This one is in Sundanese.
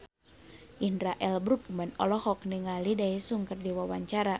Indra L. Bruggman olohok ningali Daesung keur diwawancara